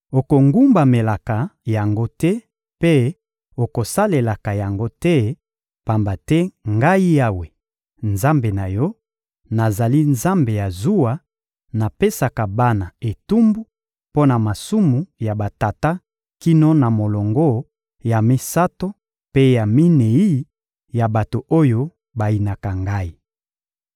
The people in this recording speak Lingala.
Okogumbamelaka yango te mpe okosalelaka yango te, pamba te Ngai Yawe, Nzambe na yo, nazali Nzambe ya zuwa; napesaka bana etumbu mpo na masumu ya batata kino na molongo ya misato mpe ya minei ya bato oyo bayinaka Ngai.